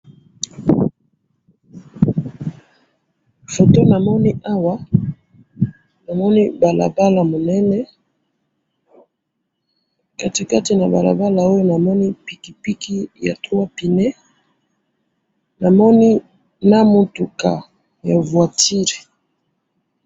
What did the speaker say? photo namoni awa namoni balabala munene katikati na balabala oyo namoni pikipiki ya trois pneux na moni na mutuka ya voiture